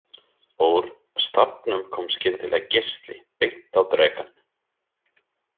Úr stafnum kom skyndilega geisli beint á drekann.